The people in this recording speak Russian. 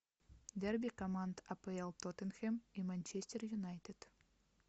дерби команд апл тоттенхэм и манчестер юнайтед